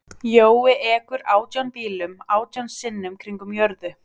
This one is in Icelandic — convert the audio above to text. Jói ekur átján bílum átján sinnum kringum jörðu.